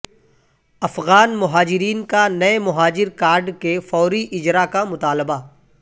افغان مہاجرین کا نئے مہاجر کارڈ کے فوری اجرا کا مطالبہ